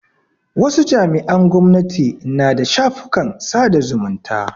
Wasu jami'an gwamnati na da shafukan sada zumunta.